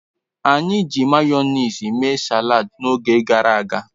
Anyi ji mayonezi mee salad n'oge garaga